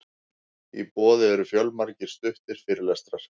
í boði eru fjölmargir stuttir fyrirlestrar